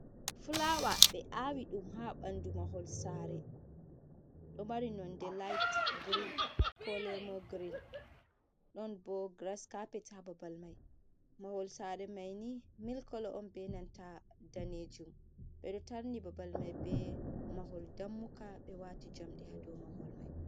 Fulaawa ɓe aawi ɗum haa ɓanndu mahol saare ɗo mari nonde liyit e kolo leemon girin ɗon boo giras caapet haa babal mai,b mahol saare mai nii mil kolo on bee nanta daneejum ɓe ɗo tarni babal mai bee mahol dammugal ɓe waati jamɗei haa dow mahol mai.